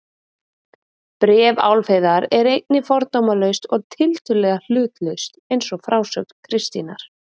Bréf Álfheiðar er einnig fordómalaust og tiltölulega hlutlaust eins og frásögn Kristínar.